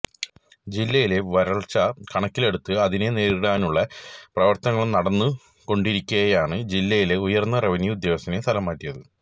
ജില്ലയിലെ വരള്ച്ച കണക്കിലെടുത്ത് അതിനെ നേരിടാനുള്ള പ്രവര്ത്തനങ്ങള് നടന്നുകൊണ്ടിരിക്കെയാണ് ജില്ലയിലെ ഉയര്ന്ന റവന്യു ഉദ്യോഗസ്ഥനെ സ്ഥലം മാറ്റിയത്